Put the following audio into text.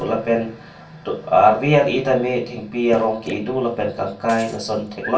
lapen arvi ar eh tame thengpi arong ke eh do lapen kangkai lason theklong.